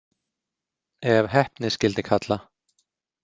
Ef heppni skyldi kalla.